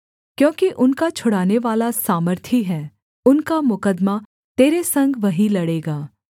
क्योंकि उनका छुड़ानेवाला सामर्थी है उनका मुकद्दमा तेरे संग वही लड़ेगा